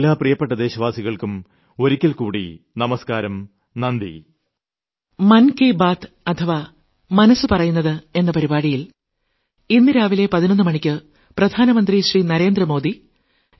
എന്റെ എല്ലാ പ്രിയപ്പെട്ട ദേശവാസികൾക്കും ഒരിക്കൽക്കൂടി നമസ്ക്കാരം നന്ദി